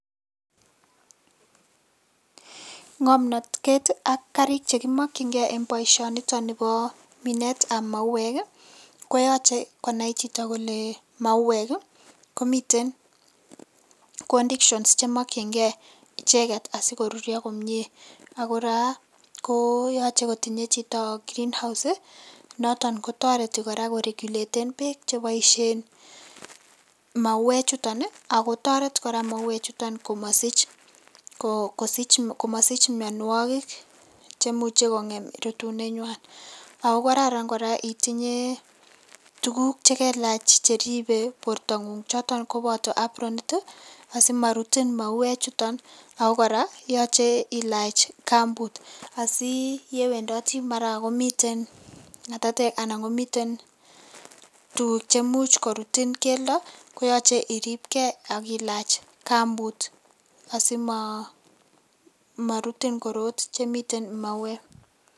Ngamnatet ak kariit che komakyigei en boisioni nibo mineet ab mauek ii koyachei konai chitoo kole mauek ii komiteen conditions che makyingei ichegeet asipkoruria komyei ako kora ko yachei kotinyei chitoo green house ii notoon ko taretii kora koreguleteen beek che baisheen mauweek chutoon ii ako taretii kora mauek chutoon ii komasich ko komasiich mianwagik chemuchei kongem rutuneet nywaany ago kararan kora itinyei tuguuk che lelaach cheribe borto nguung chotoon kobataa abroniiit ii asimarutiin mauweek chutoon ako kora ko yachei ilaach kampuut asi ye wendatii mara komiteen ngatateek anan komiteen tuguuk che muuch korutiin keldaa koyachei ilaach kampuut asimarutiin koroot che miten mauweek.